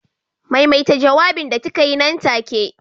Maimaita jawabin da kikaa yi nan take.